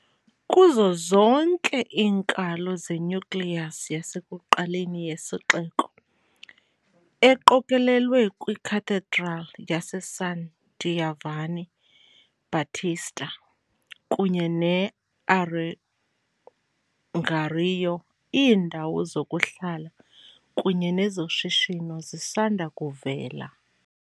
Kuzo zonke iinkalo ze-nucleus yasekuqaleni yesixeko, eqokelelwe kwi-cathedral yaseSan Giovanni Battista kunye ne-Arengario, iindawo zokuhlala kunye nezoshishino zisanda kuvela.